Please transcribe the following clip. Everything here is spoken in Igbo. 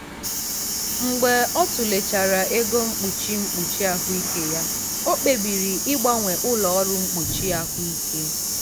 mgbe ọ tụlechara ego mkpuchi mkpuchi ahụike ya o kpebiri ịgbanwe ụlọ ọrụ mkpuchi ahụike.